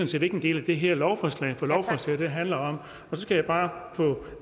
set ikke en del af det her lovforslag for lovforslaget handler om så skal jeg bare på